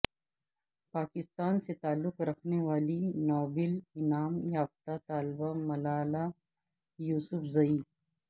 پاکستان سے تعلق رکھنے والی نوبیل انعام یافتہ طالبہ ملالہ یوسفزئی